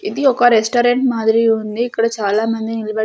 ఇది ఒక రెస్టారెంట్ మాదిరి ఉంది ఇక్కడ చాలామంది నిల్బడ్--